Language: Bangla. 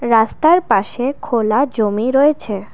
রাস্তার পাশে খোলা জমি রয়েছে।